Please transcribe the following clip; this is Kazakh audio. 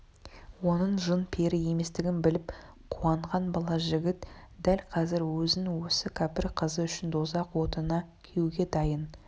оның жын-пері еместігін біліп қуанған бала жігіт дәл қазір өзін осы кәпір қызы үшін дозақ отына күюге дайын